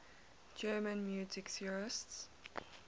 german music theorists